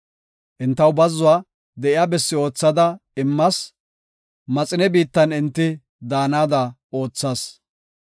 Entaw bazzuwa de7iya bessi oothada immas; maxine biittan enti daanada oothas.